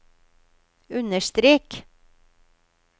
understrek